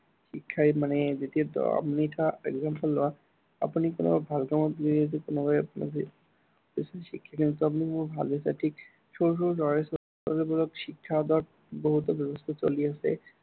শিক্ষাই মানে যেতিয়া আহ আপুনি কিবা example লোৱা, আপুনি কোনো ভাল কামত গৈ আছে, কোনোবাই যদি, বেছি শিক্ষিত তেনেকুৱা বুলি ভাবিছে, ঠিক, সৰু সৰু ল'ৰা-ছোৱালীবোৰকক শিক্ষা দিয়াৰ বহুতো ব্য়ৱস্থা চলি আছে